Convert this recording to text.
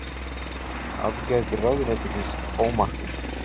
Aðgerðir ráðuneytisins ómarkvissar